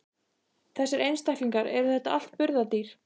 Þessir einstaklingar, eru þetta allt burðardýr?